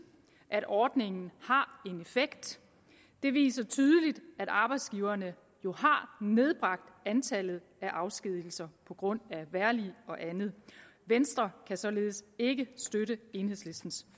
at ordningen har en effekt det viser tydeligt at arbejdsgiverne jo har nedbragt antallet af afskedigelser på grund af vejrlig og andet venstre kan således ikke støtte enhedslistens